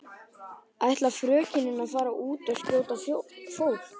Ætlar frökenin að fara út og skjóta fólk?